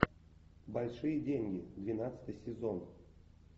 большие деньги двенадцатый сезон